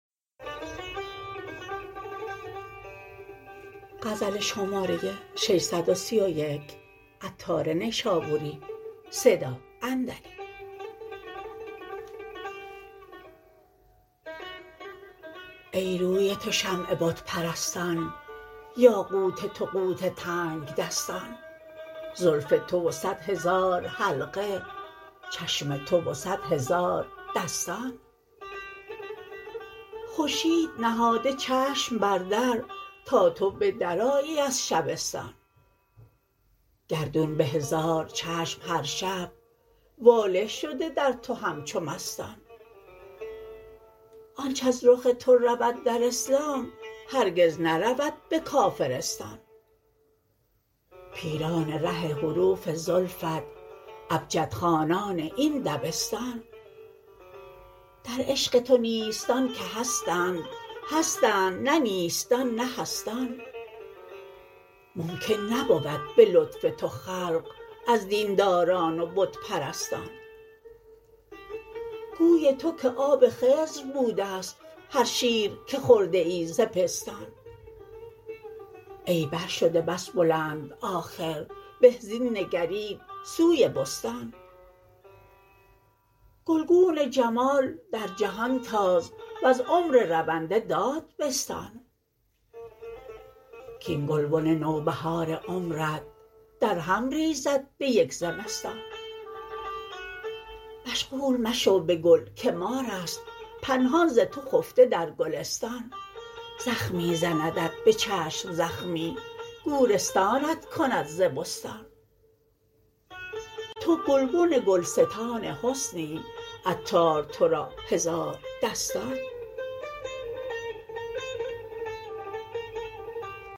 ای روی تو شمع بت پرستان یاقوت تو قوت تنگدستان زلف تو و صد هزار حلقه چشم تو و صد هزار دستان خورشید نهاده چشم بر در تا تو به درآیی از شبستان گردون به هزار چشم هر شب واله شده در تو همچو مستان آنچ از رخ تو رود در اسلام هرگز نرود به کافرستان پیران ره حروف زلفت ابجد خوانان این دبستان در عشق تو نیستان که هستند هستند نه نیستان نه هستان ممکن نبود به لطف تو خلق از دینداران و بت پرستان گوی تو که آب خضر بوده است هر شیر که خورده ای ز پستان ای بر شده بس بلند آخر به زین نگرید سوی بستان گلگون جمال در جهان تاز وز عمر رونده داد بستان کین گلبن نوبهار عمرت درهم ریزد به یک زمستان مشغول مشو به گل که ماراست پنهان ز تو خفته در گلستان زخمی زندت به چشم زخمی گورستانت کند ز بستان تو گلبن گلستان حسنی عطار تورا هزاردستان